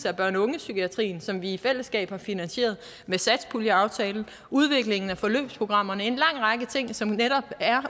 af børne og ungepsykiatrien som vi i fællesskab har finansieret med satspuljeaftalen udvikling af forløbsprogrammerne altså en lang række ting som netop er